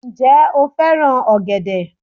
Ǹ je o fẹ́ràn ọ̀gẹ̀dẹ̀